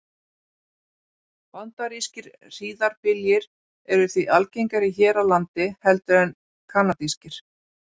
Bandarískir hríðarbyljir eru því algengari hér á landi heldur en kanadískir.